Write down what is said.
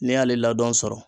N'i y'ale ladɔn sɔrɔ